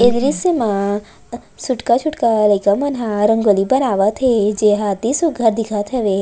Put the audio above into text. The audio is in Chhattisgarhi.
ए दृश्य मा अ सुटका छूटका लइका मन ह रंगोली बनावत हे जे अति सुघ्घर दिखत हवे।